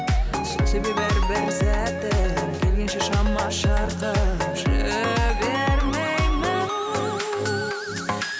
сол себеп әрбір сәтін келгенше шама шарқым жібермеймін